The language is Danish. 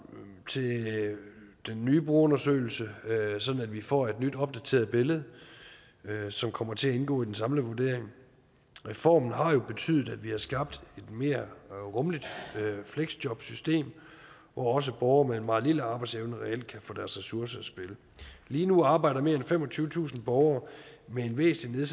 til den nye brugerundersøgelse sådan at vi får et nyt opdateret billede som kommer til at indgå i den samlede vurdering reformen har jo betydet at vi har skabt et mere rummeligt fleksjobsystem hvor også borgere med en meget lille arbejdsevne reelt kan få deres ressourcer i spil lige nu arbejder mere end femogtyvetusind borgere med en væsentlig